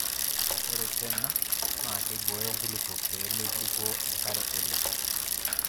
Naa ore tena naakeibooyo nkulupuok pee meibukoo enkare oleng.